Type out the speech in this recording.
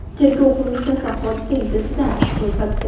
Tergov qo‘mitasi hodisa yuzasidan ish qo‘zg‘atdi.